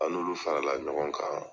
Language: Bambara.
An n'olu farala ɲɔgɔn kan